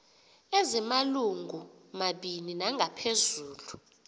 ezimalungu mabini nangaphezulu